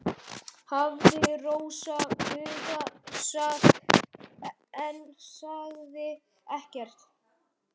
hafði Rósa hugsað en sagði ekkert.